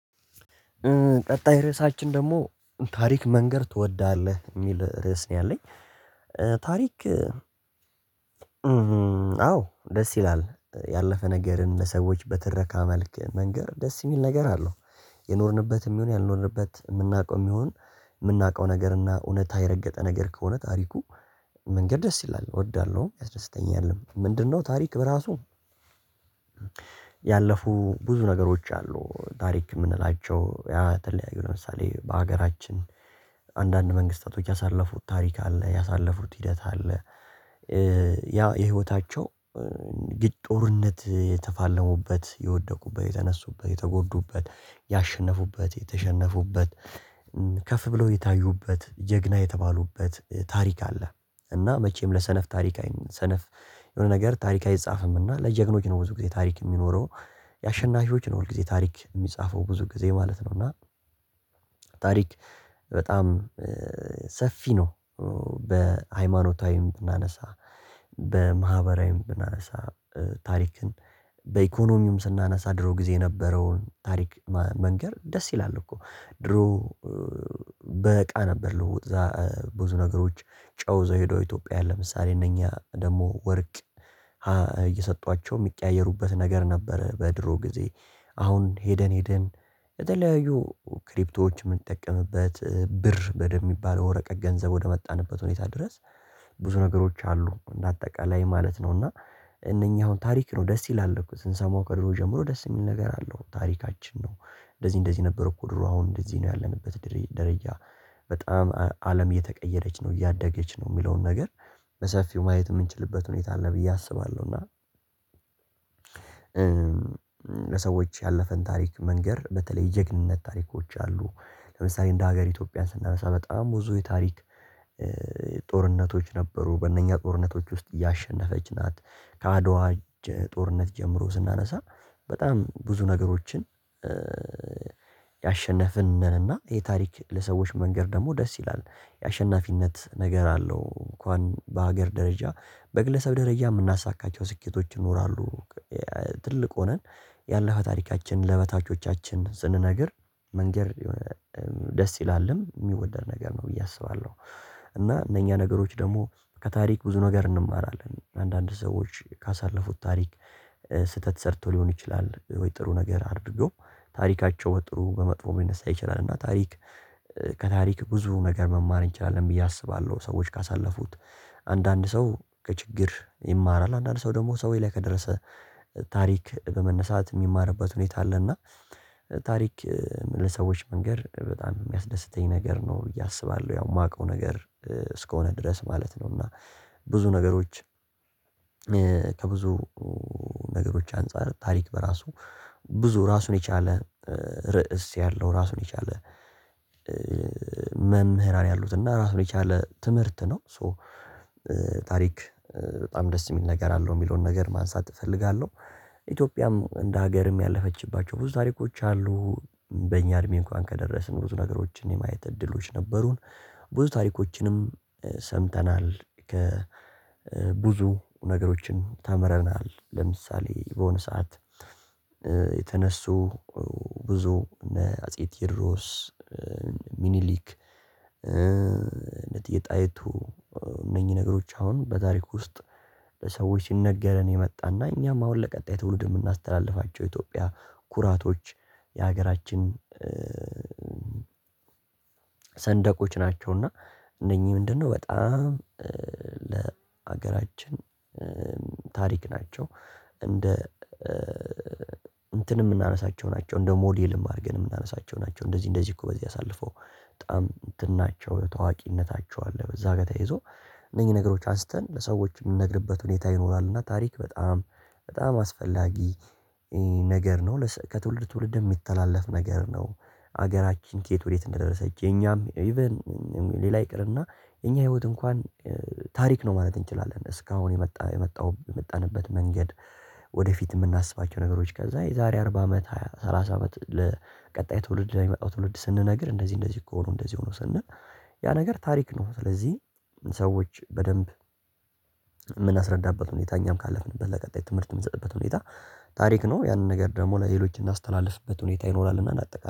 ቀጣይ ርዕሳችን ደግሞ ታሪክ መንገድ ትወዳለህ ሚል ርዕስ ነው ያለኝ ታሪክ። ደስ ይላል ያለፈ ነገርን ለሰዎች በትረካ መልክ መንገር ደስ ሚል ነገር አለው። የኖርንበት ሚሆን ያልኖርንበት ምናውቀው ሚሆን ምናውቀው ነገር እና እውነታ የረገጠ ነገር ከሆነ ታሪኩ። መንገር ደስ ይላል እወዳለሁ ያስደስተኛል። ምንድነው? ታሪክ በራሱ ያለፉ ብዙ ነገሮች አሉ ታሪክ ምንላቸው ያ ተለያዩ ለምሳሌ በሀገራችን። አንዳንድ መንግስታቶች ያሳለፉት ታሪክ አለ ያሳለፉት ሂደት አለ። ያ የህይወታቸው ጦርነት የተፋለሙበት የወደቁበት የተነሱበት የተጎዱበት ያሸነፉበት የተሸነፉበት ከፍ ብለው የታዩበት ጀግና የተባሉበት ታሪክ አለ። እና መቼም ለሰነፍ ታሪክ ሰነፍ የሆነ ነገር ታሪክ አይጻፍም እና ለጀግኖች ነው ብዙ ጊዜ ታሪክ ሚኖረው። ያሸናፊዎች ነው ሁል ጊዜ ታሪክ ሚጻፈው ብዙ ጊዜ ማለት ነው። እና ታሪክ በጣም ሰፊ ነው። በሃይማኖታዊም ብናነሳ በማህበራዊም ብናነሳ ታሪክን በኢኮኖሚውም ስናነሳ ድሮ ጊዜ የነበረውን ታሪክ መንገር ደስ ይላል። እኮ ድሮ በእቃ ነበር ልውውጥ። ብዙ ነገሮች ጨው ይዘው ሄደው ኢትዮጵያ ለምሳሌ እነኛ ደግሞ ወርቅ የሚቀያየሩበት ነገር ነበረ በድሮ ጊዜ። አሁን ሄደን ሄደን የተለያዩ ክሪፕቶዎች ምንጠቀምበት ብር በደንብ የሚባለው ወረቀት ገንዘብ ወደመጣንበት ሁኔታ ድረስ። ብዙ ነገሮች አሉ እንደ አጠቃላይ ማለት ነው። እና እነኚህ አሁን ታሪክ ነው ደስ ይላል እኮ ስንሰማው ከድሮ ጀምሮ ደስ የሚል ነገር አለው ታሪካችን ነው። እንደዚህ እንደዚህ ነበር እኮ ድሮ አሁን እንደዚህ ነው ያለንበት ደረጃ። በጣም አለም እየተቀየረች ነው እያደገች ነው ሚለውን ነገር በሰፊው ማየት ምንችልበት ሁኔታ አለ ብዬ አስባለሁ። እና ለሰዎች ያለፈን ታሪክ መንገር በተለይ ጀግንነት ታሪኮች አሉ። ለምሳሌ እንደ ሀገር ኢትዮጵያን ስናነሳ በጣም ብዙ የታሪክ ጦርነቶች ነበሩ በእነኛ ጦርነቶች ውስጥ ያሸነፈች ናት። ከአድዋ ጦርነት ጀምሮ ስናነሳ በጣም ብዙ ነገሮችን ያሸነፍን ነን። እና ይሄ ታሪክ ለሰዎች መንገር ደግሞ ደስ ይላል። የአሸናፊነት ነገር አለው እንኳን በሀገር ደረጃ በግለሰብ ደረጃ የምናሳካቸው ስኬቶች ይኖራሉ። ትልቅ ሆነን ያለፈ ታሪካችን ለበታቾቻችን ስንነግር መንገር ደስ ይላልም ሚወደድ ነገር ነው ብዬ አስባለሁ። እና እነኛ ነገሮች ደግሞ ከታሪክ ብዙ ነገር እንማራለን አንዳንድ ሰዎች ካሳለፉት ታሪክ። ስህተት ሰርቶ ሊሆን ይችላል ወይ ጥሩ ነገር አድርገው ታሪካቸው ጥሩ በመጥፎ ሊነሳ ይችላል። እና ታሪክ ከታሪክ ብዙ ነገር መማር እንችላለን ብዬ አስባለሁ። ሰዎች ካሳለፉት አንዳንድ ሰው ከችግር ይማራል አንዳንድ ሰው ደግሞ ሰውዬ ላይ ከደረሰ ታሪክ በመነሳት ሚማርበት ሁኔታ አለ። እና ታሪክ ለሰዎች መንገር በጣም ሚያስደስተኝ ነገር ነው ብዬ አስባለሁ። ያው ማውቀው ነገር እስከሆነ ድረስ ማለት ነው። እና ብዙ ነገሮች ከብዙ ነገሮች አንፃር ታሪክ በራሱ ብዙ ራሱን የቻለ ርዕስ ያለው ራሱን የቻለ መምህራን ያሉት እና ራሱን የቻለ ትምህርት ነው። ሶ ታሪክ በጣም ደስ ሚል ነገር አለው የሚለውን ነገር ማንሳት እፈልጋለሁ። ኢትዮጵያም እንደ ሀገርም ያለፈችባቸው ብዙ ታሪኮች አሉ። በእኛ እድሜ እንኳን ከደረስን ብዙ ነገሮችን የማየት እድሎች ነበሩን። ብዙ ታሪኮችንም ሰምተናል ከ ብዙ ነገሮችን ተምረናል። ለምሳሌ በሆነ ሰዓት የተነሱ ብዙ እነ አጼ ቴዎድሮስ ሚኒሊክ የጣይቱ እነኚህ ነገሮች አሁን በታሪክ ውስጥ ለሰዎች ሲነገረን የመጣና እኛም አሁን ለቀጣይ ትውልድ የምናስተላልፋቸው ኢትዮጵያ ኩራቶች። የሀገራችን ሰንደቆች ናቸውና። እነኚህ ምንድነው? በጣም ለሀገራችን ታሪክ ናቸው። እንደ እንትንም ምናነሳቸው ናቸው እንደ ሞዴልም አድርገን የምናነሳቸው ናቸው። እንደዚህ እንደዚህ እኮ በዚህ አሳልፈው በጣም እንትናቸው ታዋቂነታቸው አለ በዛ ጋር ተይዞ እነዚህ ነገሮች አንስተን ለሰዎች ምንነግርበት ሁኔታ ይኖራል። እና ታሪክ በጣም አስፈላጊ ነገር ነው። ከትውልድ ትውልድ የሚተላለፍ ነገር ነው። ሀገራችን ከየት ወዴት እንደደረሰች የኛም ኢቭን ሌላ ይቅርና እኛ ህይወት እንኳን ታሪክ ነው ማለት እንችላለን። እስካሁን የመጣ የመጣው የመጣንበት መንገድ ወደፊት የምናስባቸው ነገሮች ከዛ የዛሬ አርባ አመት ሃያ ሰላሳ አመት ለቀጣይ ትውልድ የሚመጣው ትውልድ ስንነግር እንደዚህ እንደዚህ እኮ ነው እንደዚህ ሆኖ ስንል። ያ ነገር ታሪክ ነው። ስለዚህ ሰዎች በደንብ ሁኔታ እኛም ካለፍንበት ለቀጣይ ትምህርት ምንሰጥበት ሁኔታ ታሪክ ነው። ያንን ነገር ደግሞ ለሌሎች እናስተላልፍበት ሁኔታ ይኖራል። እና እናጠቃላለን